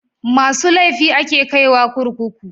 Masu laifi a ke kai wa kurkuku